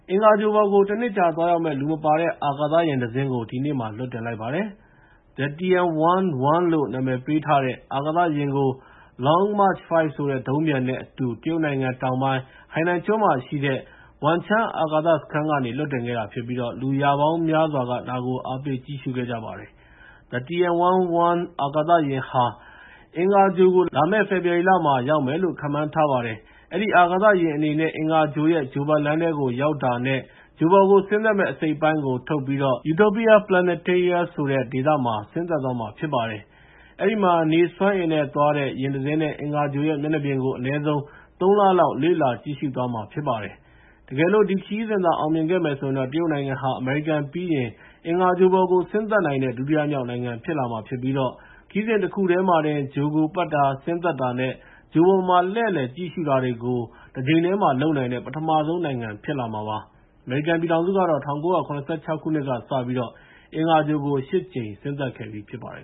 အင်္ဂါဂြိုဟ်ပေါ်ကို တနှစ်ကြာ သွားရောက်မယ့် လူမပါတဲ့ အာကာသယာဉ်တစင်းကို တရုတ်နိုင်ငံက ဒီနေ့မှာ လွှတ်တင်လိုက်ပါတယ်။ The Tianwen-1 လို့ နာမည်ပေးထားတဲ့ အာကာသယာဉ်ကို Long March 5 ဆိုတဲ့ ဒုံးပျံနဲ့ အတူ တရုတ်နိုင်ငံ တောင်ပိုင်း ဟိုင်နန်ကျွန်းမှာရှိတဲ့ Wengchang အာကာသစခန်းကနေ လွှတ်တင်ခဲ့တာဖြစ်ပြီး၊ လူရာပေါင်းများစွာက ဒါကို အားပေးကြည့်ရှုခဲ့ကြပါတယ်။ The Tianwen-1 အာကာသယာဉ်ဟာ အင်္ဂါဂြိုဟ်ကို လာမယ့် ဖေဖော်ဝါရီလမှာ ရောက်မယ်လို့ ခန့်မှန်းထားပါတယ်။ အဲဒီအာကာသယာဉ်အနေနဲ့ အင်္ဂါဂြိုဟ်ရဲ့ ဂြိုဟ်ပတ်လမ်းထဲကို ရောက်တာနဲ့ ဂြိုဟ်ပေါ်ကို ဆင်းသက်မယ့် အစိတ်အပိုင်းကိုထုတ်ပြီး Utopia Planitia ဆိုတဲ့အပိုင်းမှာ ဆင်းသက်သွားမှာ ဖြစ်ပါတယ်။ အဲဒီမှာ နေစွမ်းအင်နဲ့သွားတဲ့ ယာဉ်တစင်းနဲ့ အင်္ဂါဂြိုဟ်ရဲ့ မျက်နှာပြင်ကို အနည်းဆုံး ၃ လ လောက် လေ့လာသွားမှာဖြစ်ပါတယ်။ တကယ်လို့ ဒီခရီးစဉ်သာ အောင်မြင်ခဲ့မယ်ဆိုရင်တော့ တရုတ်နိုင်ငံဟာ အမေရိကန်ပြီးရင် အင်္ဂါဂြိုဟ်ပေါ်ကို ဆင်းသက်နိုင်တဲ့ ဒုတိယမြောက်နိုင်ငံဖြစ်လာမှာဖြစ်ပြီး၊ ခရီးစဉ်တခုတည်းမှာပဲ ဂြိုဟ်ကိုပတ်တာ၊ ဆင်းသက်တာနဲ့ ဂြိုဟ်ပေါ်မှာလှည့်လည်ကြည့်ရှု့တာတွေကို တကြိမ်တည်းမှာလုပ်နိုင်တဲ့ ပထမဆုံးနိုင်ငံ ဖြစ်လာမှာပါ။ အမေရိကန်ပြည်ထောင်စုကတော့ ၁၉၇၆ ခုနှစ်ကစပြီး အင်္ဂါဂြိုဟ်ကို ၈ ကြိမ် ဆင်းသက်ခဲ့ပြီဖြစ်ပါတယ်